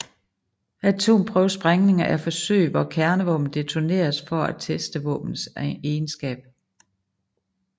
Atomprøvesprængninger er forsøg hvor kernevåben detoneres for at teste våbenets egenskaber